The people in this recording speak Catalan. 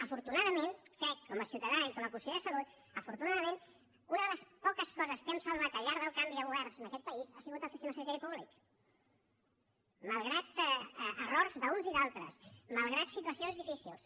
afortunadament crec com a ciutadà i com a conseller de salut afortunadament que una de les poques coses que hem salvat al llarg dels canvis de governs d’aquest país ha sigut el sistema sanitari públic malgrat errors d’uns i d’altres malgrat situacions difícils